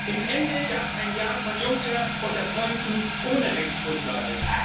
Am Ende gab es ein Ja von Juncker unter Freunden, ohne Rechtsgrundlage.